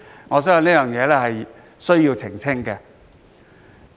我相信有需要澄清這點。